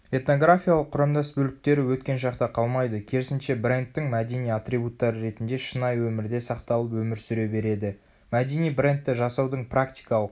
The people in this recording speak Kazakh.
этнографиялық құрамдас бөліктері өткен шақта қалмайды керісінше брендтің мәдени атрибуттары ретінде шынайы өмірде сақталып өмір сүре береді.мәдени брендті жасаудың практикалық